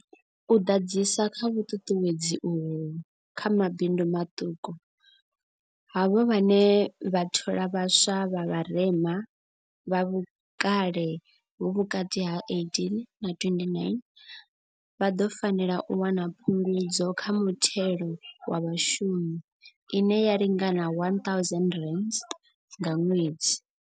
U ḓadzisa kha vhuṱuṱuwedzi uho kha mabindu maṱuku, havho vhane vha thola vhaswa vha vharema, vha vhukale ha vhukati ha 18 na 29, vha ḓo fanela u wana phungudzo kha muthelo wa vhashumi ine ya lingana R1 000 nga ṅwedzi.